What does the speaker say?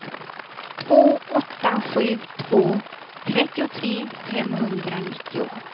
två åtta sju två trettiotre femhundranittio